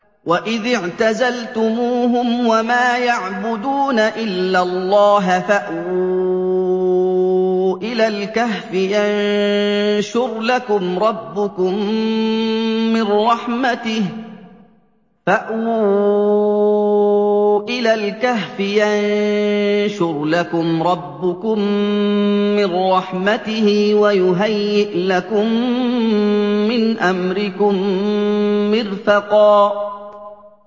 وَإِذِ اعْتَزَلْتُمُوهُمْ وَمَا يَعْبُدُونَ إِلَّا اللَّهَ فَأْوُوا إِلَى الْكَهْفِ يَنشُرْ لَكُمْ رَبُّكُم مِّن رَّحْمَتِهِ وَيُهَيِّئْ لَكُم مِّنْ أَمْرِكُم مِّرْفَقًا